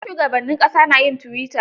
Har shugabannin ƙasa na yin tuwita.